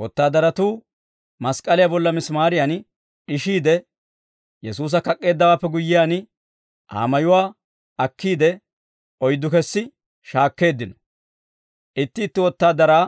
Wotaadaratuu mask'k'aliyaa bolla misimaariyan d'ishiide, Yesuusa kak'k'eeddawaappe guyyiyaan, Aa mayuwaa akkiide, oyddu kessi shaakkeeddino; itti itti wotaadaraa